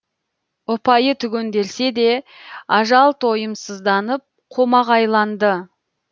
ұпайы түгенделсе де ажал тойымсызданып қомағайланды